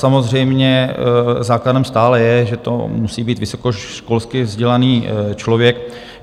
Samozřejmě základem stále je, že to musí být vysokoškolsky vzdělaný člověk.